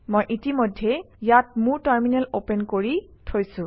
মই ইতিমধ্যেই ইয়াত মোৰ টাৰমিনেল অপেন কৰি থৈছোঁ